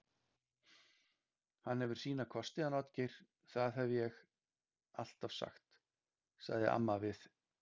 Hann hefur sína kosti hann Oddgeir, það hef ég alltaf sagt, sagði amma við